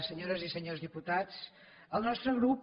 senyores i senyors diputats el nostre grup